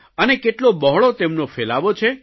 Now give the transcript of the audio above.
અને કેટલો બહોળો તેમનો ફેલાવો છે